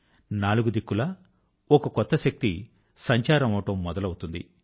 నాలుగు దిక్కులా ఒక కొత్త శక్తి సంచారం అవడం మొదలవుతుంది